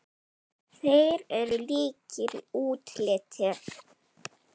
Þeir eru líkir í útliti.